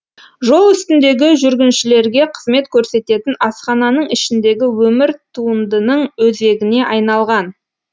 жол үстіндегі жүргіншілерге қызмет көрсететін асхананың ішіндегі өмір туындының өзегіне айналған